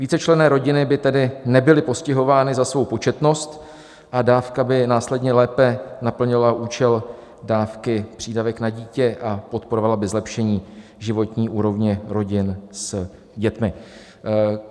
Vícečlenné rodiny by tedy nebyly postihovány za svou početnost a dávka by následně lépe naplnila účel dávky přídavek na dítě a podporovala by zlepšení životní úrovně rodin s dětmi.